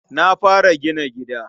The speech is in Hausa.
Na fara gina gida.